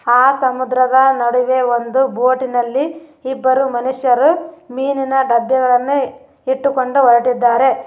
ಆ ಸಮುದ್ರದ ನಡುವೆ ಒಂದು ಬೋಟಿನಲ್ಲಿ ಇಬ್ಬರು ಮನುಷ್ಯರು ಮೀನಿನ ಡಬ್ಬಗಳನ್ನು ಇಟ್ಟುಕೊಂಡು ಹೊರಟಿದ್ದಾರೆ.